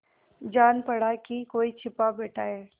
जान पड़ा कि कोई छिपा बैठा है